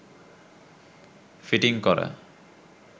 fitting করা